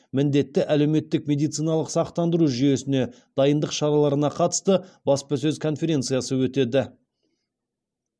міндетті әлеуметтік медициналық сақтандыру жүйесіне дайындық шараларына қатысты баспасөз конференциясы өтеді